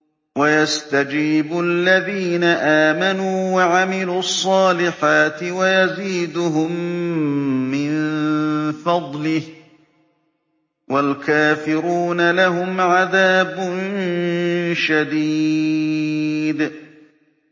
وَيَسْتَجِيبُ الَّذِينَ آمَنُوا وَعَمِلُوا الصَّالِحَاتِ وَيَزِيدُهُم مِّن فَضْلِهِ ۚ وَالْكَافِرُونَ لَهُمْ عَذَابٌ شَدِيدٌ